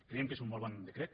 creiem que és un molt bon decret